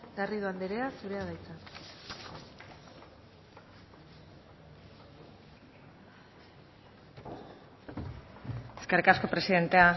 garrido anderea zurea da hitza eskerrik asko presidente